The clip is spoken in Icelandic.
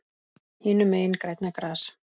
Hinum megin grænna gras.